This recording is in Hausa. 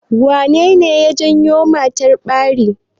Me ne ne ya janyo ma matar ɓari?